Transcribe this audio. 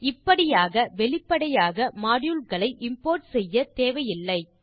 மற்றும் இப்படியாக வெளிப்படையாக மாடியூல் களை இம்போர்ட் செய்யத்தேவை இல்லை